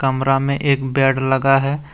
कमरा में एक बेड लगा है।